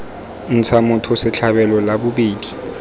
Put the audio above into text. ntsha motho setlhabelo la bobedi